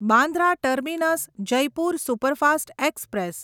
Bandra terminus Jaipur superfast express